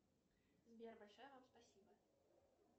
сбер большое вам спасибо